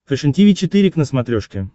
фэшен тиви четыре к на смотрешке